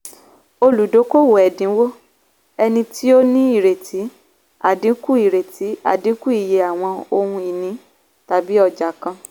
olùdókòwò ẹ̀dínwó - ẹni tí ó ní ìrètí àdínkù ìrètí àdínkù iye àwọn ohun-ìní tàbí ọjà kan.